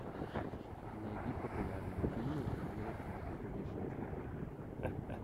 найди популярные фильмы в жанре путешествие